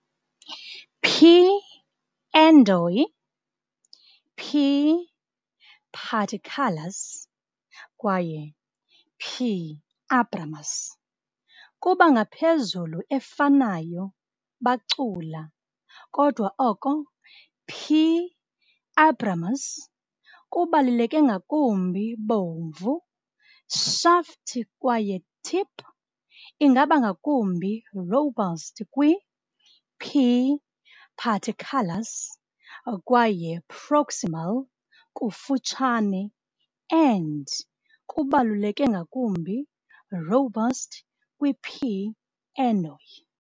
"P. endoi", "P. paterculus", kwaye "P. abramus" kuba ngaphezulu efanayo bacula, kodwa oko "P. abramus" kubaluleke ngakumbi bomvu, shaft kwaye tip ingaba ngakumbi robust kwi - "P. paterculus", kwaye proximal, kufutshane, end kubaluleke ngakumbi robust kwi - "P. endoi".